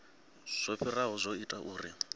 zwo fhiraho zwo ita uri